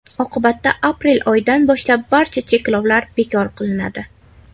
Oqibatda aprel oyidan boshlab barcha cheklovlar bekor qilinadi.